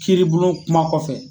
Kiiribulon kuma kɔfɛ.